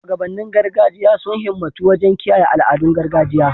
Shugabannin gargajiya sun himmatu wajen kiyaye al'adun gargajiya